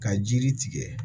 Ka jiri tigɛ